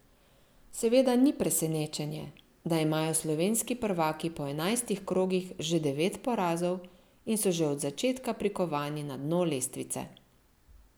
Seveda ni presenečenje, da imajo slovenski prvaki po enajstih krogih že devet porazov in so že od začetka prikovani na dno lestvice.